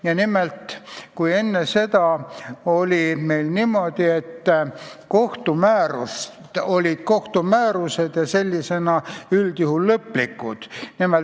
Ja nimelt, enne seda oli niimoodi, et kohtumäärused olid üldjuhul lõplikud.